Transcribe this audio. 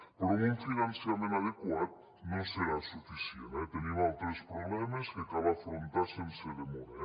però amb un finançament adequat no serà suficient eh tenim altres problemes que cal afrontar sense demora